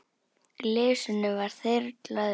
Glysinu var þyrlað upp.